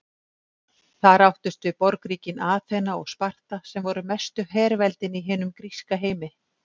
Þar áttust við borgríkin Aþena og Sparta sem voru mestu herveldin í hinum gríska heimi.